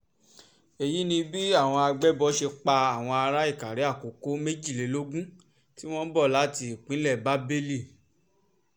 èyí ni bí àwọn àgbébọ̀ ṣe pa àwọn ará ìkàrè-àkókò méjìlélógún tí wọ́n ń bọ̀ láti ìpínlẹ̀ bábélì